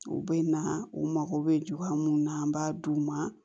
U bɛ na u mago bɛ juru minnu na an b'a d'u ma